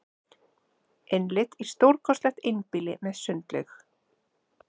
Innlit í stórkostlegt einbýli með sundlaug